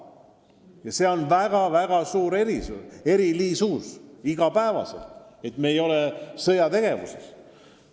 Ja see on tänapäeval väga-väga suur erisus, et me ei ole sõjategevuses.